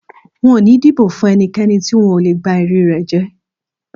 N ò ní dìbò fún e̩niké̩ni ti n ò lè gba e̩rí rè̩ jé̩